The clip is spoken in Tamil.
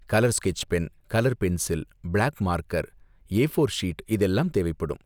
Colour sketch pen, colour pencil, black marker, A four sheet இதெல்லாம் தேவைப்படும்.